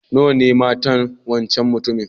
Nawa ne matan wancan mutumin?